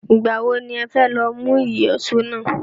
Ìgbà wo ni ó fẹ́ lọ mú ìyọ̀ṣó náà